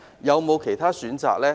有否其他選擇呢？